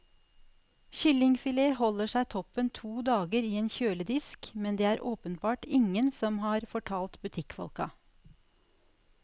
Kyllingfilet holder seg toppen to dager i en kjøledisk, men det er det åpenbart ingen som har fortalt butikkfolka.